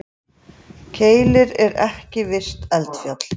Keilir er ekki virkt eldfjall.